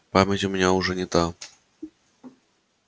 память у меня уже не та